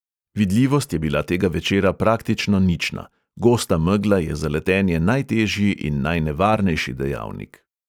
Vidljivost je bila tega večera praktično nična, gosta megla je za letenje najtežji in najnevarnejši dejavnik.